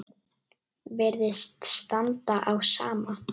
Virðist standa á sama.